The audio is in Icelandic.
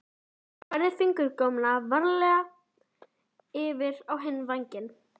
Hún færði fingurgómana varfærnislega yfir á hinn vangann.